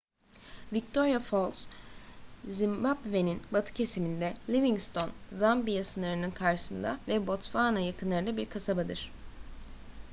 victoria falls zimbabve'nin batı kesiminde livingstone zambiya sınırının karşısında ve botsvana yakınlarında bir kasabadır